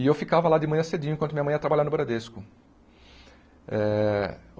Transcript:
E eu ficava lá de manhã cedinho, enquanto minha mãe ia trabalhar no Bradesco. Eh